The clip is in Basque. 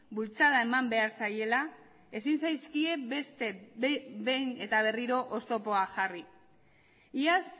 bultzada eman behar zaiela ezin zaizkie beste behin eta berriro oztopoa jarri iaz